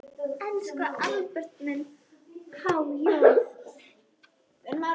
Elsku Albert minn, há joð.